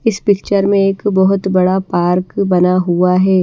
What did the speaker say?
इस पिक्चर में एक बहोत बड़ा पार्क बना हुआ है।